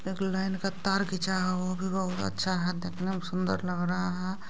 एक लाइन का तार घिचा हो वो भी बहुत अच्छा है देखने में सुन्दर लग रहा है।